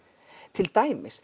til dæmis